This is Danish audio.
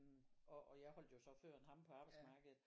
Og og jeg holdt jo så før end ham på arbejdsmarkedet